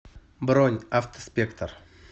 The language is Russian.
бронь автоспектр